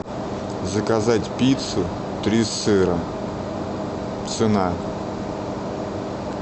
заказать пиццу три сыра цена